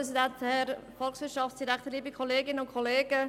Jetzt ist das Gesetz ziemlich verdorben.